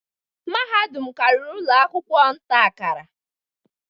Mahadum karịrị ụlọ akwụkwọ nta-akara.